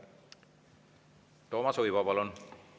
Toomas Uibo, palun!